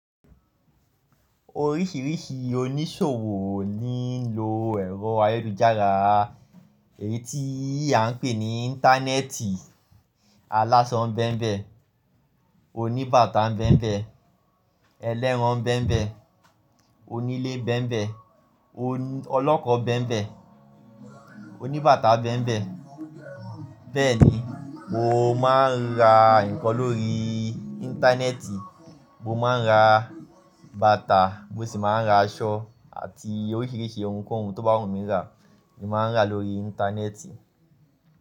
Oríṣìíríṣìí oníṣòwò ni ń lo ẹ̀rọ ayélujára, èyí tí à ń pè ní Íńtánẹ́ẹ̀tì. Alásọ ń bẹ́ńbẹ́, oníbàtà ń bẹ́ńbẹ́, ẹlẹ́ran ń bẹ́ńbẹ́, onílé ń bẹ́ńbẹ́, oní-- ọlọ́kọ̀ ń bẹ́ńbẹ́, oníbàtà ń bẹ́ńbẹ́. Bẹ́ẹ̀ ni, mo máa ń ra nǹkan lórí Íńtánẹ́ẹ̀tì, mo máa ń ra bàtà, mo sì máa ń ra aṣọ àti oríṣìíríṣìí ohunkóhun tó bá wù mí rá, èmi máa ń rà lórí Íńtánẹ́ẹ̀tì.